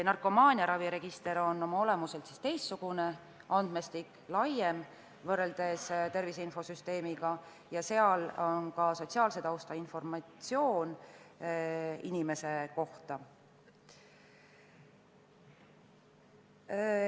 Narkomaaniaraviregister on oma olemuselt teistsugune andmestik, võrreldes tervise infosüsteemiga on see laiem, seal on andmed ka inimese sotsiaalse tausta kohta.